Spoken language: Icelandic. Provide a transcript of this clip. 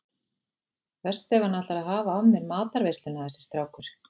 Verst ef hann ætlar að hafa af mér matarveisluna þessi strákur.